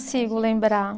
lembrar.